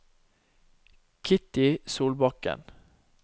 Kitty Solbakken